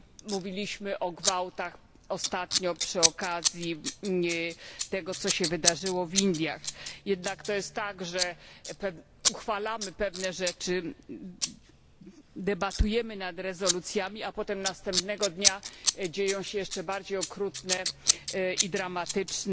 Mówiliśmy o gwałtach ostatnio przy okazji tego, co się wydarzyło w Indiach. Jest jednak tak, że uchwalamy pewne rzeczy, debatujemy nad rezolucjami, a potem następnego dnia mają miejsce jeszcze bardziej okrutne i dramatyczne